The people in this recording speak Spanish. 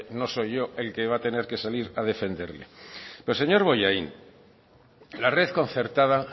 no soy yo el que va a tener que salir a defenderle pero señor bollain la red concertada